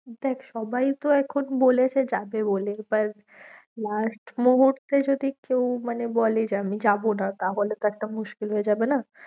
দেখ সবাই তো এখন বলেছে যাবে বলেছে last মুহূর্তে যদি কেউ মানে বলে যে আমি যাবো না, তাহলে তো একটা মুশকিল হয়ে যাবে না।